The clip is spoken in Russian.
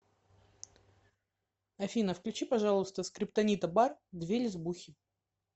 афина включи пожалуйста скриптонита бар две лесбухи